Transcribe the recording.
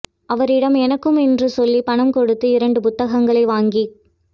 அவரிடம் எனக்கும் என்று சொல்லிப் பணம் கொடுத்த இரண்டு புத்தகங்களை வாங்கிக்